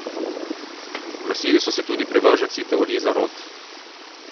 Oglasili so se tudi privrženci teorij zarote.